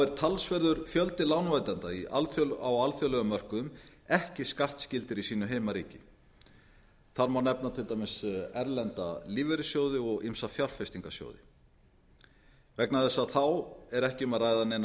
er talsverður fjöldi lánveitenda á alþjóðlegum mörkuðum ekki skattskyldur í sínu heimaríki þar má nefnda til dæmis erlenda lífeyrissjóði og ýmsa fjárfestingarsjóði vegna þess að þá er ekki um að ræða neinar